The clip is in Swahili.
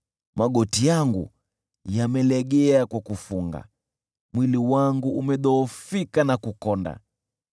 Magoti yangu yamelegea kwa kufunga, mwili wangu umedhoofika na kukonda.